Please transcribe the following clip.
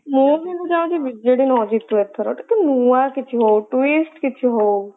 ମୁଁ କିନ୍ତୁ ଚାହୁଁଛି ବିଜେଡି ନ ଜିତୁ ଏଥରକ କିଛି ନୂଆ କିଛି ହାଉ twist କିଛି ହଉ।